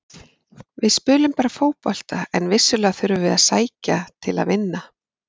Við spilum bara fótbolta en vissulega þurfum við að sækja til að vinna.